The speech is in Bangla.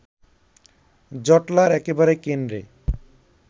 জটলার একেবারে কেন্দ্রে